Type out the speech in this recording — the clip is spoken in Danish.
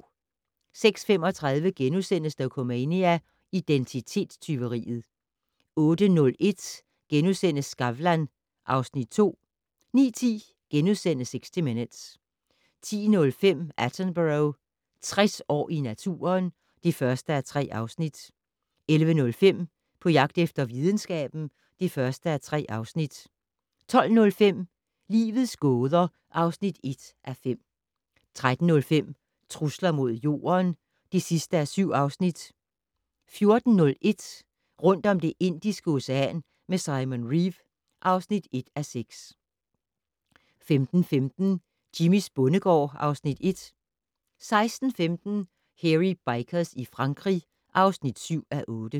06:35: Dokumania: Identitetstyveriet * 08:01: Skavlan (Afs. 2)* 09:10: 60 Minutes * 10:05: Attenborough - 60 år i naturen (1:3) 11:05: På jagt efter videnskaben (1:3) 12:05: Livets gåder (1:5) 13:05: Trusler mod Jorden (7:7) 14:01: Rundt om Det Indiske Ocean med Simon Reeve (1:6) 15:15: Jimmys bondegård (Afs. 1) 16:15: Hairy Bikers i Frankrig (7:8)